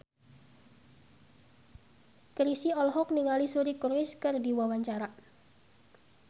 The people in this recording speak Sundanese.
Chrisye olohok ningali Suri Cruise keur diwawancara